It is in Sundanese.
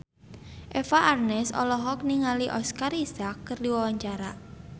Eva Arnaz olohok ningali Oscar Isaac keur diwawancara